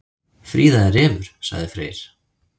Fríða er refur, sagði Freyr.